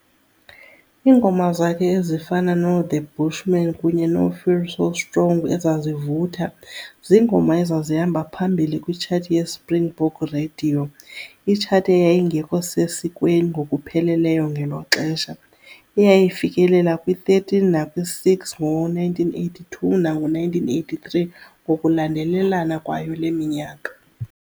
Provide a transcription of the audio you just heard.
Iingoma zakhe ezifana no"The Bushman" kunye no"Feel So Strong", ezazivutha, ziingoma ezazihamba phambili kwitshathi yeSpringbok Radiyo, Itshathi eyayingekho sesikweni ngokupheleleyo ngelo xesha, eyayifikelela kwi13 nakwi6 ngo1982 nango1983 ngokulandelelana kwayo le minyaka.